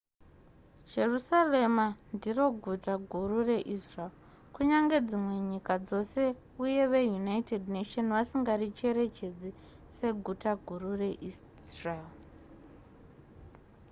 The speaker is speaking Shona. jerusarema ndiro guta guru reisrael kunyangwe dzimwe nyika dzose uye veunited nations vasingaricherechedzi seguta guru reisrael